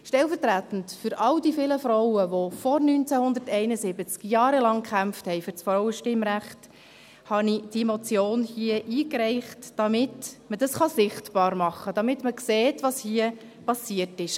Stellvertretend für all diese vielen Frauen, die vor 1971 jahrelang für das Frauenstimmrecht kämpften, habe ich diese Motion hier eingereicht, damit man dies sichtbar machen kann, damit man sieht, was hier passiert ist.